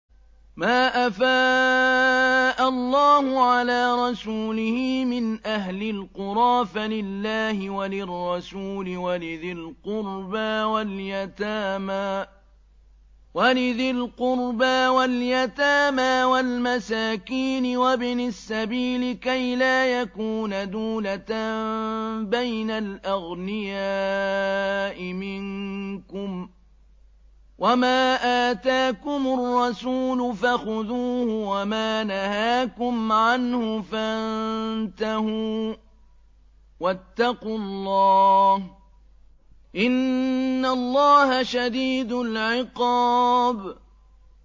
مَّا أَفَاءَ اللَّهُ عَلَىٰ رَسُولِهِ مِنْ أَهْلِ الْقُرَىٰ فَلِلَّهِ وَلِلرَّسُولِ وَلِذِي الْقُرْبَىٰ وَالْيَتَامَىٰ وَالْمَسَاكِينِ وَابْنِ السَّبِيلِ كَيْ لَا يَكُونَ دُولَةً بَيْنَ الْأَغْنِيَاءِ مِنكُمْ ۚ وَمَا آتَاكُمُ الرَّسُولُ فَخُذُوهُ وَمَا نَهَاكُمْ عَنْهُ فَانتَهُوا ۚ وَاتَّقُوا اللَّهَ ۖ إِنَّ اللَّهَ شَدِيدُ الْعِقَابِ